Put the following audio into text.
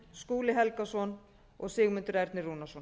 skúli helgason og sigmundur ernir rúnarsson